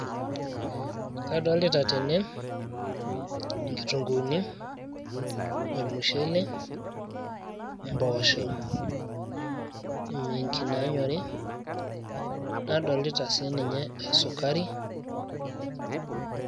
kadolita tene inkitunguuni, ormushele, mpoosho, miinchi naanyori nadolita siininye esukari.